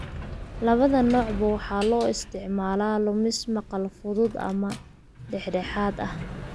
Labada noocba waxaa loo isticmaalaa lumis maqal fudud ama dhexdhexaad ah.